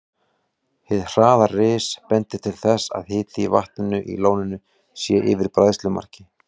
Hið hraða ris bendir til þess, að hiti í vatninu í lóninu sé yfir bræðslumarki.